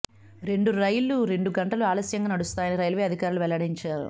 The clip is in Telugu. రెండు రైళ్లు రెండు గంటలు ఆలస్యంగా నడుస్తాయని రైల్వే అధికారులు వెల్లడించారు